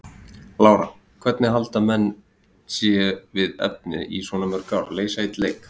Lára: Og hvernig halda menn sé við efnið í svona mörg ár, leysa einn leik?